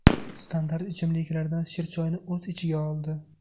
Standart ichimliklardan shirchoyni o‘z ichiga oldi.